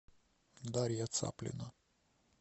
дарья цаплина